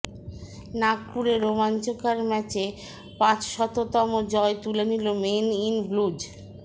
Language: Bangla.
নাগপুরে রোমাঞ্চকর ম্যাচে পাঁচশততম জয় তুলে নিল মেন ইন ব্লুজ